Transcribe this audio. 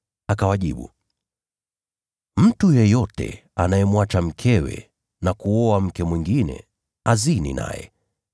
Akawajibu, “Mtu yeyote amwachaye mkewe na kuoa mke mwingine, anazini naye.